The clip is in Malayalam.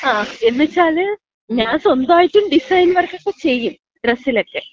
ങ്ങാ. എന്ന്ച്ചാല് ഞാൻ സ്വന്തമായിട്ടും ഡിസൈൻ വർക്കൊക്കെ ചെയ്യും. ഡ്രസ്സിലൊക്കെ.